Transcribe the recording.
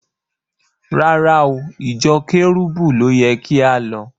Rárá o, ìjọ Kẹ́rúbù ló yẹ kí á lọ.